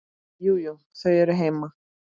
Jú, jú. þau eru heima.